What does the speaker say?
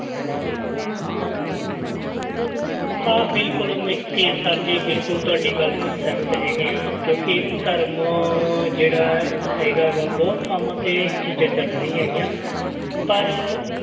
ਹਾਂ ਬਿਲਕੁਲ ਮੈਂ ਤੇ sir ਜੀ ਬਿਲਕੁਲ ਤੁਹਾਡੀ ਗੱਲ ਨਾਲ ਸਹਿਮਤ ਹੈਗੇ ਹਾਂ ਕਿਉਂਕਿ ਧਰਮ ਜਿਹੜਾ ਹੈਗਾ ਗਾ ਬਹੁਤ ਥਾਵਾਂ ਤੇ ਇਹ ਚੀਜ਼ਾਂ ਚੱਲ ਰਹੀਆਂ ਹੈਗੀਆਂ ਪਰ